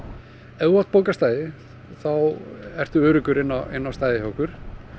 ef þú átt bókað stæði þá ertu öruggur inn á inn á stæðið hjá okkur